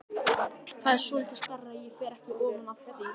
Það er svolítið stærra, ég fer ekki ofan af því!